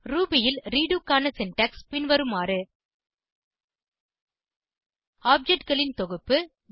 Ruby ல் redo க்கான syntax பின்வருமாறு objectகளின் தொகுப்பு